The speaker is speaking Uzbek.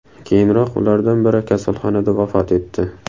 Keyinroq ulardan biri kasalxonada vafot etdi.